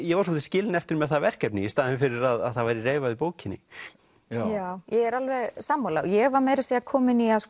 ég var svolítið skilinn eftir með það verkefni í staðinn fyrir að það væri reifað í bókinni já er alveg sammála ég var meira að segja komin í að